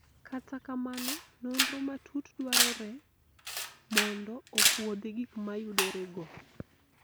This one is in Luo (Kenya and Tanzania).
kata kamano, nonro matut dwarore mondo opuodhi gik moyudore go